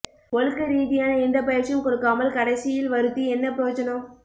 ஒழுக்க ரீதியான எந்த பயற்சியும் கொடுக்காமல் கடைசியல் வருத்தி என்ன புரோஜனம்